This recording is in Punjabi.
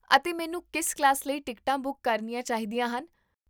ਅਤੇ ਮੈਨੂੰ ਕਿਸ ਕਲਾਸ ਲਈ ਟਿਕਟਾਂ ਬੁੱਕ ਕਰਨੀਆਂ ਚਾਹੀਦੀਆਂ ਹਨ?